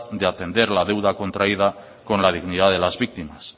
de atender la deuda contraída con la dignidad de las víctimas